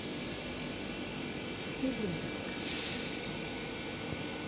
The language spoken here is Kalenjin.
siling ata